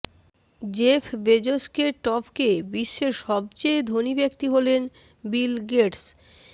Jeff বেজোসকে টপকে বিশ্বের সবচেয়ে ধনী ব্যক্তি হলেন বিল গেটস